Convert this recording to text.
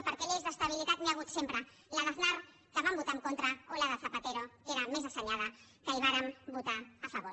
perquè lleis d’estabilitat n’hi ha hagut sempre la d’aznar que hi vam votar en contra o la de zapatero que era més assenyada que hi vàrem votar a favor